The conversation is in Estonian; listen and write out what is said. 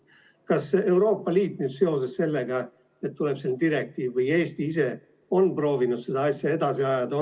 Kas Euroopa Liit seoses sellega, et tuleb selline direktiiv, või Eesti ise on proovinud seda asja edasi ajada?